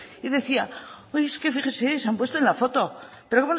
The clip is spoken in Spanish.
y decía es que fíjese se han puesto en la foto pero